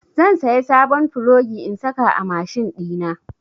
Zan saya sabon plogi in saka a mashin ɗina.